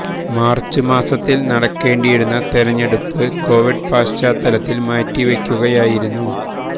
March മാസത്തില് നടക്കേണ്ടിയിരുന്ന തെരഞ്ഞെടുപ്പ് കൊവിഡ് പശ്ചാത്തലത്തില് മാറ്റി വെക്കുകയായിരുന്നു